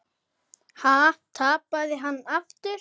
Ha, tapaði hann aftur?